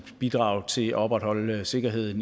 bidrag til at opretholde sikkerheden